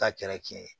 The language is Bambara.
Ta kɛra tiɲɛ ye